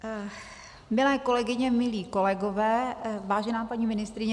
Milé kolegyně, milí kolegové, vážená paní ministryně.